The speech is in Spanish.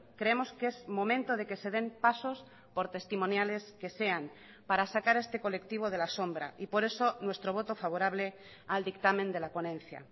creemos que es momento de que se den pasos por testimoniales que sean para sacar a este colectivo de la sombra y por eso nuestro voto favorable al dictamen de la ponencia